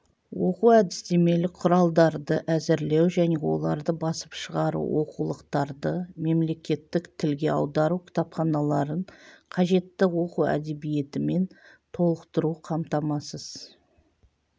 оқу-әдістемелік құралдарды әзірлеу және оларды басып шығару оқулықтарды мемлекеттік тілге аудару кітапханаларын қажетті оқу әдебиетімен толықтыру қамтамасыз